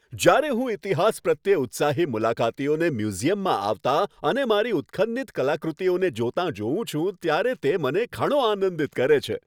જ્યારે હું ઈતિહાસ પ્રત્યે ઉત્સાહી મુલાકાતીઓને મ્યુઝિયમમાં આવતા અને મારી ઉત્ખન્નિત કલાકૃતિઓને જોતાં જોઉં છું, ત્યારે તે મને ઘણો આનંદિત કરે છે.